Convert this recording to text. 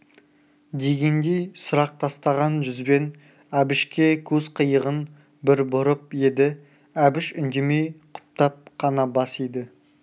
дегендей сұрақ тастаған жүзбен әбішке көз қиығын бір бұрып еді әбіш үндемей құптап қана бас иді